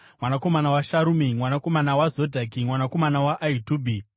mwanakomana waSharumi, mwanakomana waZodhaki, mwanakomana waAhitubhi,